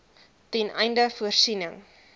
ten einde voorsiening